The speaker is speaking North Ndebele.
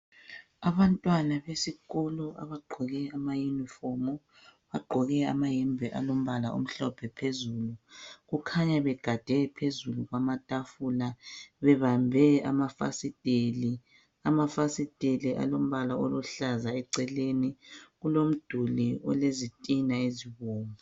Abantwana besikolo abagqoke bagqoke amayunifomu bagqoke amayembe alombala omhlophe phezulu kukhanya begade phezulu kwamatafula babambe amafasiteli, amafasitela alombala oluhlaza eceleni kulomduli olezitina ezibomvu.